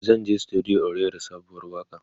zanje studio in rera sabuwar waƙa